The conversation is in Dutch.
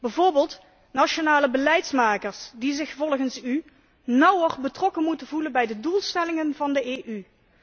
Bijvoorbeeld, nationale beleidsmakers die zich volgens u nauwer betrokken moeten voelen bij de doelstellingen van de EU.